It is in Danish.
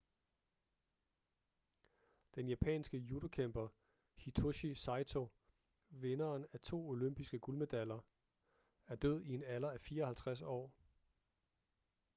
den japanske judokæmper hitoshi saito vinderen af to olympiske guldmedaljer er død i en alder af 54 år